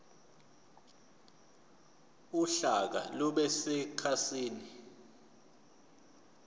uhlaka lube sekhasini